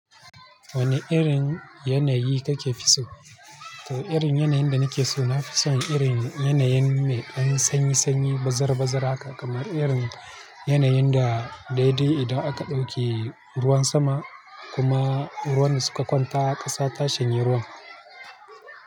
Wana irin yanayi kake so? To irin yanayin da nake so, nafi son irin yanayi mai ɗan sanyi sanyi, bazara bazara haka kamar irin yanayin da, daidai idan aka ɗauke ruwan sama kuma ruwan suka kwanta ƙasa ta shanye ruwan.